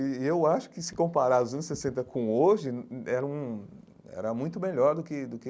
E eu acho que, se comparar os anos sessenta com hoje, era hum era muito melhor do que do que.